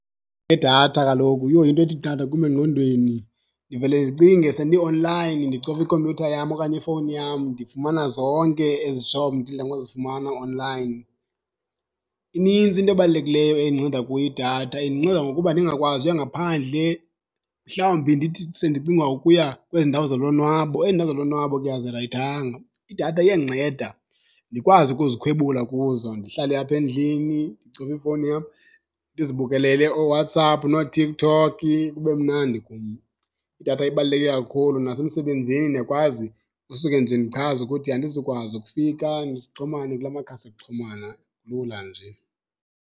Idatha kaloku, yo into ethi qatha kum engqondweni ndivele ndicinge sendi-online ndicofa ikhompyutha yam okanye ifowuni yam ndifumana zonke ezi job ndidla ngozifumana online. Inintsi into ebalulekileyo endinceda kuyo idatha, indinceda ngokuba ndingakwazi uya ngaphandle. Mhlawumbi ndithi sendicinga ukuya kwezi ndawo zolonwabo, ezi ndawo zolonwabo ke azirayithanga. Idatha iyandinceda ndikwazi ukuzikhwebula kuzo ndihlale apha endlini ndicofe ifowuni yam, ndizibukelele ooWhatsApp nooTikTok kube mnandi kum. Idatha ibaluleke kakhulu, nasemsebenzini ndiyakwazi usuke nje ndichaze ukuthi andizukwazi ukufika sixhumane kula makhasi okuxhumana lula nje.